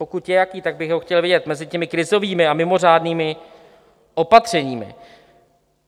Pokud je jaký, tak bych ho chtěl vidět mezi těmi krizovými a mimořádnými opatřeními.